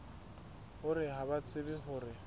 hore ha ba tsebe hore